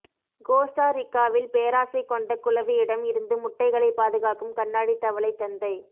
Costa ரிக்காவில் பேராசை கொண்ட குளவியிடம் இருந்து முட்டைகளை பாதுகாக்கும் கண்ணாடி தவளை தந்தை